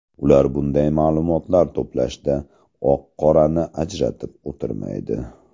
Ular bunday ma’lumotlar to‘plashda oq-qorani ajratib o‘tirmaydi.